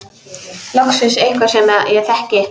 Loksins einhver sem ég þekki.